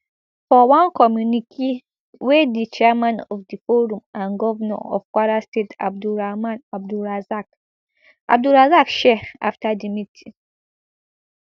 for one communique wey di chairman of di forum and govnor of kwara state abdulrahman abdulrazaq abdulrazaq share afta di meeting